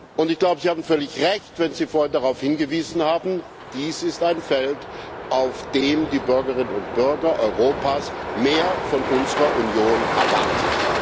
Und Sie hatten völlig Recht, als Sie vorhin darauf hingewiesen haben Dies ist ein Feld, auf dem die Bürgerinnen und Bürger Europas mehr von unserer Union erwarten.